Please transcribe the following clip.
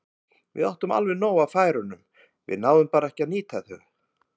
Við áttum alveg nóg af færum, við náðum bara ekki að nýta þau.